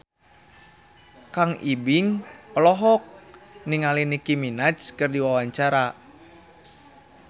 Kang Ibing olohok ningali Nicky Minaj keur diwawancara